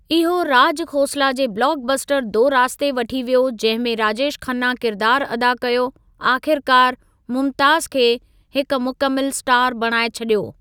इहो राज खोसला जे blockbuster 'Do Raaste' वठी वियो जंहिं में राजेश खन्ना किरिदारु अदा कयो आख़िरकार मुमताज़ खे हिक मुकमिलु स्टार बणाई छॾियो।